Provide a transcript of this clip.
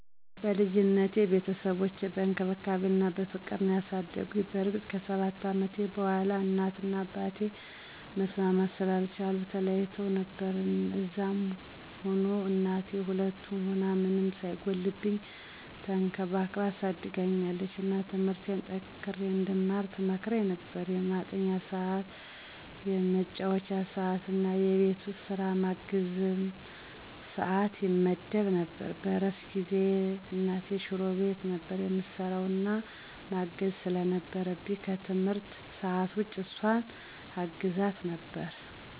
በልጅነቴ ቤተሰቦቼ በእንክብካቤ እና በፍቅር ነዉ ያሳደጉኝ። በእርግጥ ከ7 አመቴ በኋላ እናት እና አባቴ መስማማት ስላልቻሉ ተለያይተዉ ነበር። እንደዛም ሁኖ እናቴ ሁለቱንም ሁና ምንም ሳይጎልብኝ ተንከባክባ አሳድጋኛለች። እና ትምርቴን ጠንክሬ እንድማር ትመክረኝ ነበር፣ የማጥኛ ሰዕት፣ የመጫወቻ ሰዕት እና የቤት ዉስጥ ስራ የማገዝም ሰዕት ይመደብ ነበር። በእረፍት ጊዜየ እናቴ ሽሮ ቤት ነበር እምሰራዉ እና ማገዝ ስለነበረብኝ ከትምህርት ሰዕት ዉጭ እሷን አግዛታለሁ ነበር።